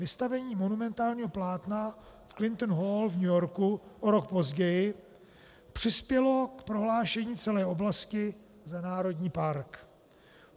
Vystavení monumentálního plátna v Clinton Hall v New Yorku o rok později přispělo k prohlášení celé oblasti za národní park.